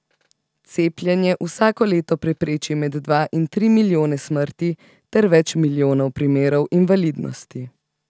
Cepljenje vsako leto prepreči med dva in tri milijone smrti ter več milijonov primerov invalidnosti.